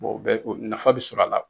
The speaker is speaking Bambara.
o bɛ nafa bi sɔrɔ a la.